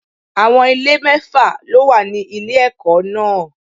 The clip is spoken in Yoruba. Àwọn ilé mẹ́fà ló wà ní ilé ẹ̀kọ́ náà.